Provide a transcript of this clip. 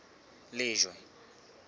lejwe